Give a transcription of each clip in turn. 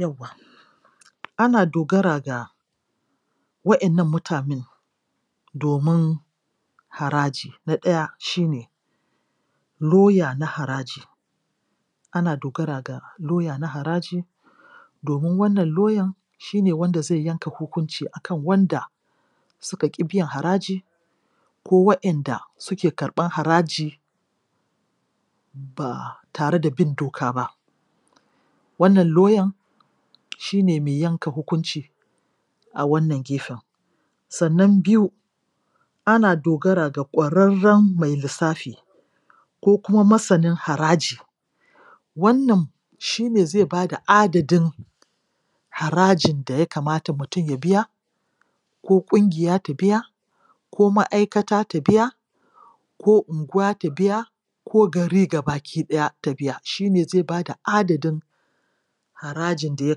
Yawwa, ana dogara ga waƴannan mutanen domin haraji. Na ɗaya shi en lauya na haraji. Ana dogara ga lauya na haraji domin wannan lauyan shi ne wanda zai yanka hukunci a kan wanda wanda suka ƙi biyan haraji ko waƴanda suke karɓan haraji ba tare da bin doka ba. Wannan lauyan shi ne mai yanka hukunci a wannan gefen. Sannan biyu, ana dogara ga ƙwararren mai lissafi ko kuma masanin haraji. Wannan shi ne zai ba da adadin harajin da ya kamata mutum ya biya ko ƙungiya ta biya ko ma'aikata ta biya ko unguwa ta biya ko gari ga baki ɗaya ta biya. Shi ne zai ba da adadin harajin da ya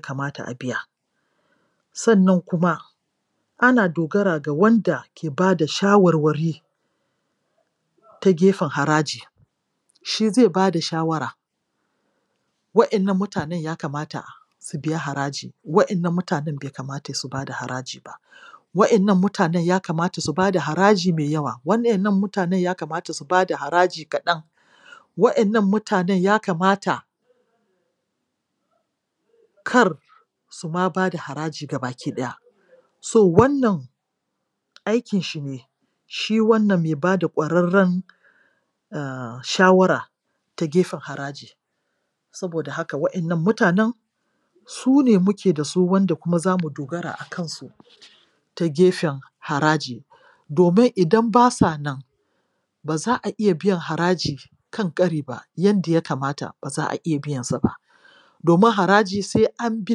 kamata a biya. Sannan kuma ana dogara ga wanda ke ba da shawarwari ta gefen haraji. Shi zai ba da shawara waƴannan mutanen ya kamata su biya haraji; waƴannan mutanen bai kamata su biya haraji ba. Waƴannan mutanen ya kamata su ba da haraji mai yawa; waƴannan mutanen ya kamata su ba da haraji kaɗan; waƴannan mutanen ya kamata kar su ma ba da haraji ga baki ɗaya. So, wannan aikin shi ne--shi wannan mai ba da ƙwararren um shawara ta gefen haraji. Saboda haka waƴannan mutanen su ne muke da su wanda kuma za mu dogara a kansu ta gefen haraji, domin idan ba sa nan ba za a iya biyan haraji kan ƙari ba, yanda ya kamata ba za a iya biyansa ba. Domin haraji sai an bi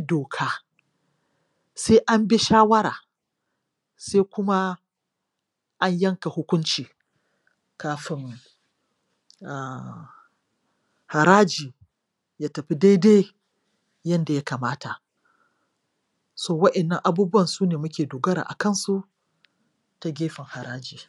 doka, sai an bi shawara, sai kuma an yanka hukunci kadin um haraji ya tafi daidai yanda ya kamata. So, waƴannan abubuwan su ne muke dogara a kansu ta gefen haraji.